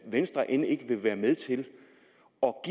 venstre end ikke vil være med til